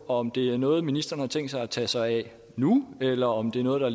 om det er noget ministeren har tænkt sig at tage sig af nu eller om det er noget der